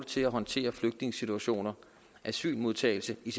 til at håndtere flygtningesituationer og asylmodtagelse i